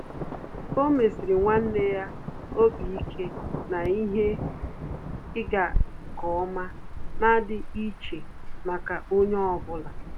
Ọ́ mèsị̀rị̀ nwanne ya obi ike na ihe ịga nke ọma nà-ádị́ iche màkà onye ọ bụla.